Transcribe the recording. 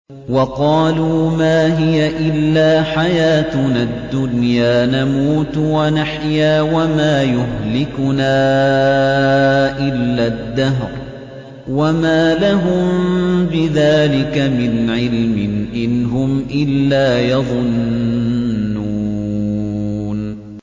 وَقَالُوا مَا هِيَ إِلَّا حَيَاتُنَا الدُّنْيَا نَمُوتُ وَنَحْيَا وَمَا يُهْلِكُنَا إِلَّا الدَّهْرُ ۚ وَمَا لَهُم بِذَٰلِكَ مِنْ عِلْمٍ ۖ إِنْ هُمْ إِلَّا يَظُنُّونَ